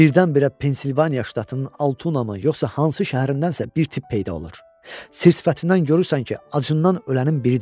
Birdən-birə Pensilvaniya ştatının Altuna mı, yoxsa hansı şəhərindən isə bir tip peyda olur, sir-sifətindən görürsən ki, acından ölənin biridir.